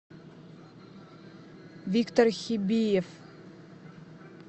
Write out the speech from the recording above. виктор хибеев